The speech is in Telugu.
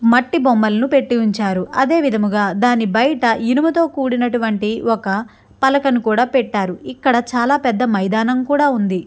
మట్టి బొమ్మలను పెట్టి ఉంచారు అదేవిధంగా దాని బయట ఇనుముతో కూడినటువంటి ఒక పలకను కూడా పెట్టారు ఇక్కడ చాలా పెద్ద మైదానం కూడా ఉంది.